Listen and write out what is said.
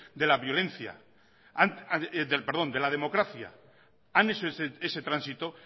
de la democracia han hecho ese tránsito